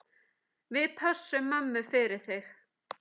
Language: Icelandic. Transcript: Við pössum mömmu fyrir þig.